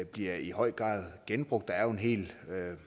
bliver i høj grad genbrugt der er jo en hel